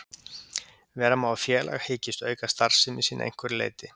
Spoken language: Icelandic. Vera má að félag hyggist auka starfsemi sína að einhverju leyti.